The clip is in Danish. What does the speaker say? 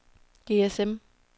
GSM